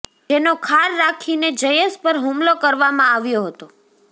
જેનો ખાર રાખીને જયેશ પર હુમલો કરવામાં આવ્યો હતો